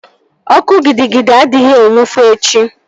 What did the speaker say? Ọkụ gidi gidi adịghị enwu foo echi